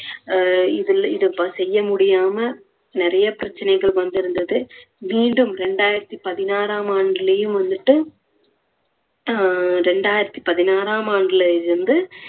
ஆஹ் இதுல இதை செய்ய முடியாம நிறைய பிரச்சனைகள் வந்திருந்தது மீண்டும் இரண்டாயிரத்தி பதினாறாம் ஆண்டுலேயும் வந்துட்டு ஹம் இரண்டாயிரத்தி பதினாறாம் ஆண்டுல வந்து